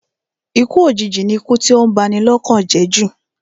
Ikú òjìji ni ikú tí ó ń ba ni lọ́kàn jẹ́ jù